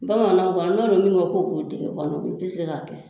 Bamananw ka nɔ nunnu ŋo ko k'u dege kɔnɔ u ti se k'a kɛ.